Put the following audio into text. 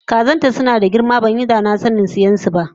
Kazanta sunada girma banyi danasanin siyansu ba